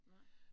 Nej